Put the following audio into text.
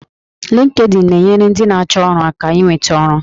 Linkedin na-enyere ndị na-achọ ọrụ aka inweta ọrụ